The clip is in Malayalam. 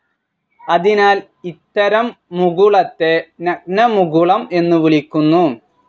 അതിനാൽ ഇത്തരം മുകുളത്തെ നഗ്നമുകുളം എന്ന് വിളിക്കുന്നു.